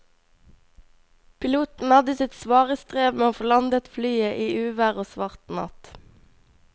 Piloten hadde sitt svare strev med å få landet flyet i uvær og svart natt.